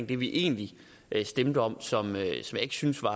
det vi egentlig stemte om som jeg ikke synes var